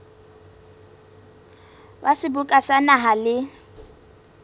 wa seboka sa naha le